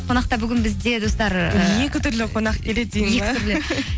қонақта бүгін бізде достар екі түрлі қонақ келеді деген бе